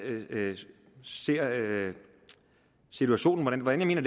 ser situationen og hvordan jeg